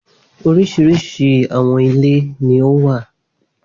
Oríṣiríṣi àwọn ilé ni ó wà.